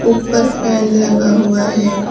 ऊपर फैन लगा हुआ है।